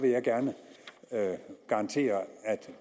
jeg gerne garantere at